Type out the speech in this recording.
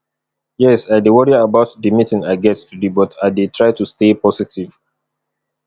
yes i dey worry about di meeting i get today but i dey try to stay positive